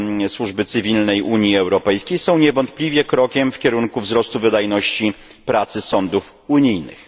Służby Cywilnej Unii Europejskiej są niewątpliwie krokiem w kierunku wzrostu wydajności pracy sądów unijnych.